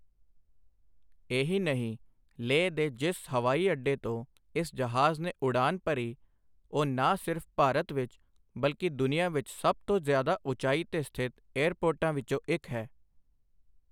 ਇਹੀ ਨਹੀਂ ਲੇਹ ਦੇ ਜਿਸ ਹਵਾਈ ਅੱਡੇ ਤੋਂ ਇਸ ਜਹਾਜ਼ ਨੇ ਉਡਾਨ ਭਰੀ, ਉਹ ਨਾ ਸਿਰਫ ਭਾਰਤ ਵਿੱਚ, ਬਲਕਿ ਦੁਨੀਆ ਵਿੱਚ ਸਭ ਤੋਂ ਜ਼ਿਆਦਾ ਉਚਾਈ ਤੇ ਸਥਿਤ ਏਅਰਪੋਰਟਾਂ ਵਿੱਚੋਂ ਇੱਕ ਹੈ।